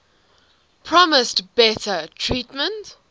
promised better treatment